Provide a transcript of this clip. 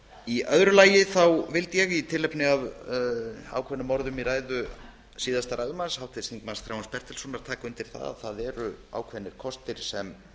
í öðru lagi vildi ég í tilefni af ákveðnum orðum í ræðu síðasta ræðumanns háttvirtur þingmaður þráins bertelssonar taka undir það að það eru ákveðnir kostir sem